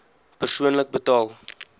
persoonlik betaal